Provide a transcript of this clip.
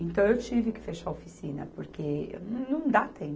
Então, eu tive que fechar a oficina porque não dá tempo.